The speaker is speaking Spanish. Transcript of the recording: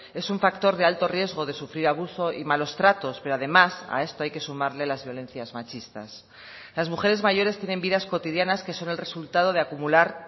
es un factor de alto riesgo de sufrir abuso y malos tratos pero además a esto hay que sumarle las violencias machistas las mujeres mayores tienen vidas cotidianas que son el resultado de acumular